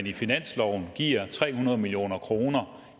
i finansloven giver tre hundrede million kroner